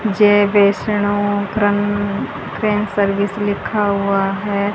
जय वैष्णो क्रन crane service लिखा हुआ हैं।